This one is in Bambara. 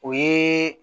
O ye